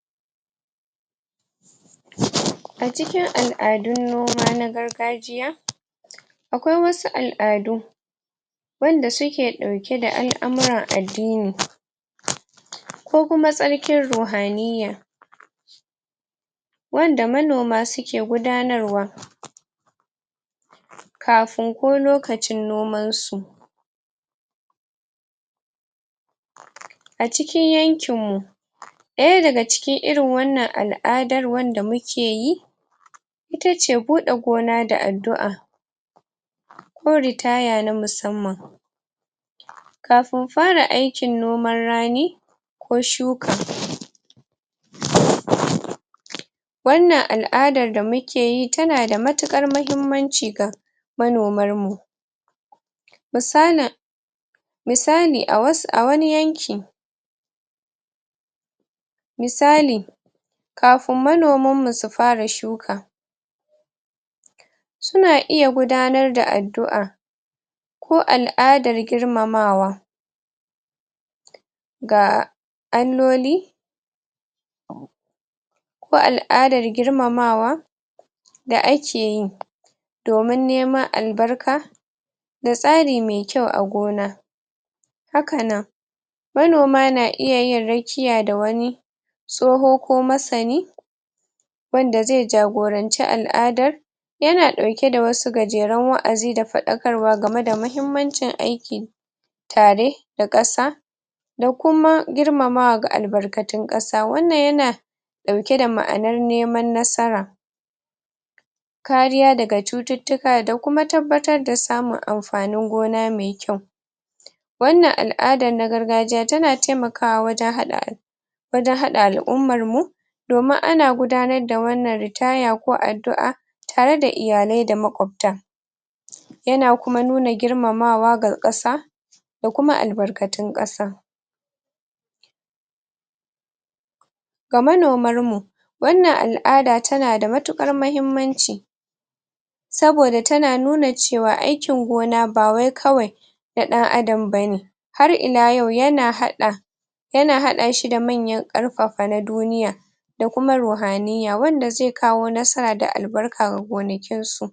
a cikin al'adun noma na gargajiya akwai wasu al'adu wanda suke ɗauke da al'amuran addini ko kuma tsarkin ruhaniya wanda manoma suke gudanarwa kafun ko lokacin noman su acikin yankin mu ɗaya daga cikin irin wannan al'adan wanda muke yi itace buɗe gona da addu'a ko ritaya na musamman kafun fara aikin noman rani ko shuka wannan al'adar da muke yi tana da matuƙar mahimmanci ga manomar mu misalin misali a wasu a wani yanki misali kafun manoman mu su fara shuka suna iya gudanar da addu'a ko al'adar girmamawa ga Alloli ko al'adar girmamawa da akeyi domin neman albarka da tsari mai kyau a gona haka nan manoma na iya yin rakiya da wani tsoho ko masani wanda zai jagoranci al'adar yana ɗauke da wasu gajeran wa'azi da faɗakarwa game da mahimmancin aiki tare da ƙasa da kuma girmamawa ga albarƙatun sa, wannan yana ɗauke da ma'anar neman nasara kariya daga cututtuka da kuma tabbatar da samun amfanin gona mai kyau wannan al'adan na gargajiya tana taimakawa wajen haɗa wajen haɗa al'ummar mu domin ana gudanar da wannan ritaya ko addu'a tare da iyalai da maƙwabta yana kuma nuna girmamawa ga ƙasa da kuma albarkatun ƙasa ga manomar mu wannan al'ada tana da matuƙar mahimmanci saboda tana nuna cewa aikin gona bawai kawai na ɗan adam bane har ila yau yana haɗa yana haɗa shi da manyan ƙarfafa na duniya da kuma ruhaniya wanda zai kawo nasara da albarka ga gonakin su